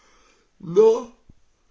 но